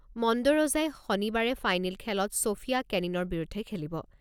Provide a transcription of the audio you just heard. মণ্ডৰোজাই শনিবাৰে ফাইনেল খেলত ছ'ফিয়া কেনিনৰ বিৰুদ্ধে খেলিব।